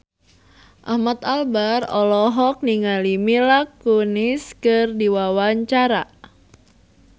Ahmad Albar olohok ningali Mila Kunis keur diwawancara